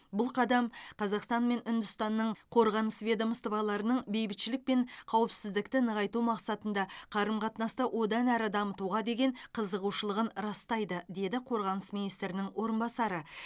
бұл қадам қазақстан мен үндістанның қорғаныс ведомстволарының бейбітшілік пен қауіпсіздікті нығайту мақсатында қарым қатынасты одан әрі дамытуға деген қызығушылығын растайды деді қорғаныс министрінің орынбасары